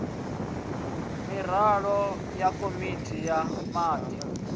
miraḓo ya komiti ya wadi